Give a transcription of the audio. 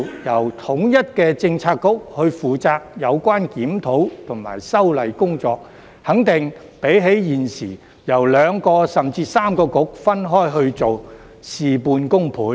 由統一的政策局負責有關檢討及修例工作，肯定比現時由兩個、甚至三個政策局分開去做，事半功倍。